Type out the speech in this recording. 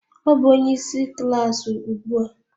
Ọ bụ onye isi klaasị ugbu a